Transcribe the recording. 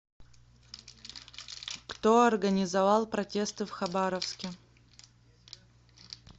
кто организовал протесты в хабаровске